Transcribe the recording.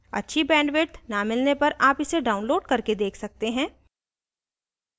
अच्छी bandwidth न मिलने पर आप इसे download करके देख सकते हैं